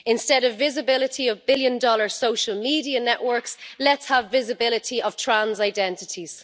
Instead of visibility of billion dollar social media networks, let's have visibility of trans identities.